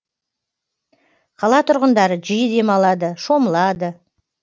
қала тұрғындары жиі демалады шомылады